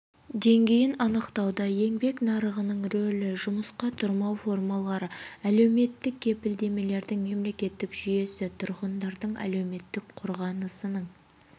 деңгейін анықтауда еңбек нарығының рөлі жұмысқа тұрмау формалары әлеуметтік кепілдемелердің мемлекеттік жүйесі тұрғындардың әлеуметтік қорғанысының